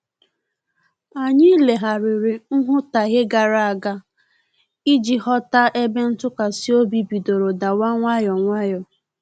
Anyị legharịrị nwutaghie gara aga iji ghọta ebe ntụkwasị obi bidoro dawa nwayọ nwayọ